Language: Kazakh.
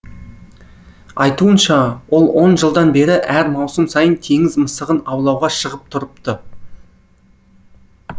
айтуынша ол он жылдан бері әр маусым сайын теңіз мысығын аулауға шығып тұрыпты